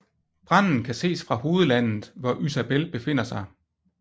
Branden kan ses fra hovedlandet hvor Ysabel befinder sig